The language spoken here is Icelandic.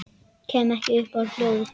Kem ekki upp hljóði.